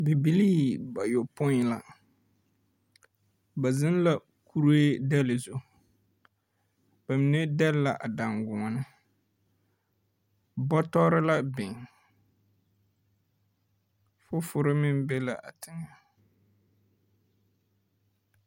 Bibilii bayopõi la. Ba zeŋ la kuree dɛle zu . ba mine dɛle la a daŋgoɔne. Bɔtɔre la biŋ. Fofore meŋ be la a teŋɛ.